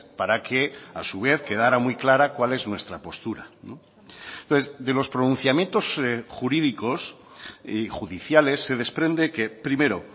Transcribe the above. para que a su vez quedara muy clara cuál es nuestra postura entonces de los pronunciamientos jurídicos y judiciales se desprende que primero